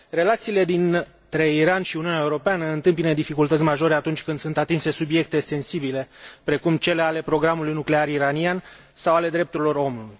Relațiile dintre Iran și Uniunea Europeană întâmpină dificultăți majore atunci când sunt atinse subiecte sensibile, precum cele ale programului nuclear iranian sau ale drepturilor omului.